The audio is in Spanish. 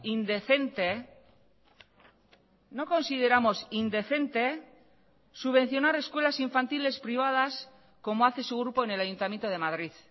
indecente no consideramos indecente subvencionar escuelas infantiles privadas como hace su grupo en el ayuntamiento de madrid